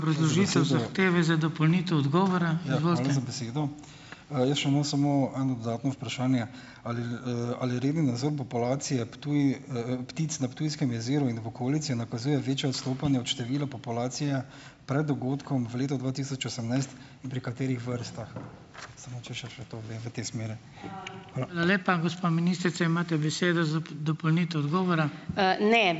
Ja, hvala za besedo. Jaz še imam samo eno dodatno vprašanje. Ali, ali redni nadzor populacije ... ptic na Ptujskem jezeru in v okolici nakazuje večja odstopanja od števila populacije pred dogodkom v letu dva tisoč osemnajst in pri katerih vrstah? Samo če še, še to zdaj v tej smeri.